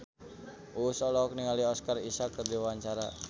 Uus olohok ningali Oscar Isaac keur diwawancara